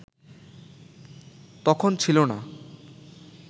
তখন ছিল না